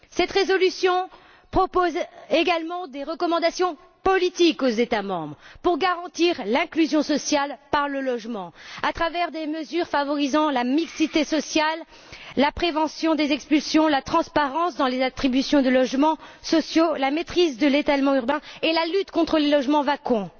Cette résolution propose également des recommandations politiques aux États membres pour garantir l'inclusion sociale par le logement à travers des mesures favorisant la mixité sociale, la prévention des expulsions, la transparence dans les attributions de logements sociaux, la maîtrise de l'étalement urbain et la lutte contre les logements vacants.